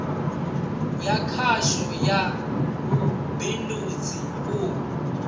ya khasho ya vhubindudzi u